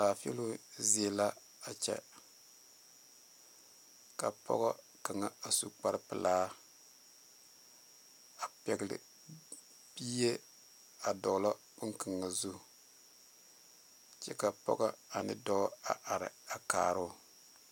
Laafiilɔ zie la a kyɛ ka pɔge kaŋa a su kpare pelaa a pegle bie a dogle bon kaŋa zu kyɛ ka pɔge ane dɔɔ a are a kaaro.